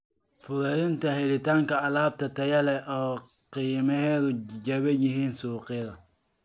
Fududeynta helitaanka alaab tayo leh oo qiimaheedu jaban yahay suuqyada.